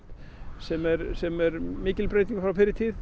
sem er sem er mikil breyting frá fyrri tíð